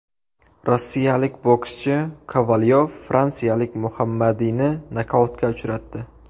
Rossiyalik bokschi Kovalyov fransiyalik Muhammadiyni nokautga uchratdi.